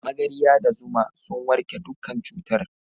Magarya da zuma sun warke dukkan cutar.